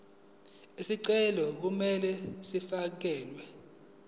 izicelo kumele zifakelwe